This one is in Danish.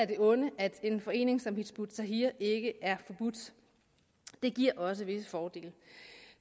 det onde at en forening som hizb ut tahrir ikke er forbudt det giver også visse fordele